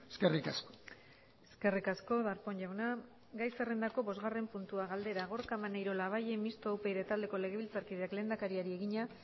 eskerrik asko eskerrik asko darpón jauna gai zerrendako bosgarren puntua galdera gorka maneiro labayen mistoa upyd taldeko legebiltzarkideak lehendakariari egina